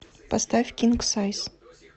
поставь кинг сайз